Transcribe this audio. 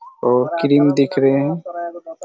और क्रीम दिख रहे हैं।